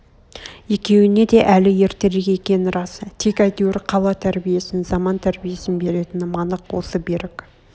екеуіне де әл ертерек екен рас тек әйтеур қала тәрбиесін заман тәрбиесін беретінім анық осы берік